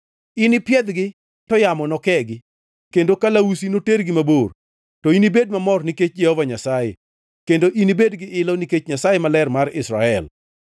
Inipiedhgi to yamo nokegi kendo kalausi notergi mabor. To inibed mamor nikech Jehova Nyasaye, kendo inibed gi ilo nikech Nyasaye Maler mar Israel.